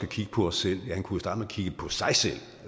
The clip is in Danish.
kigge på os selv ja